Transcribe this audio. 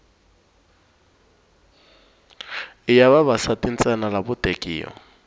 i ya vavasati ntsena lavo tekiwa